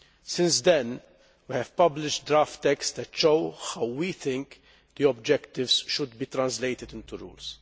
Since then, we have published draft texts that show how we think the objectives should be translated into rules.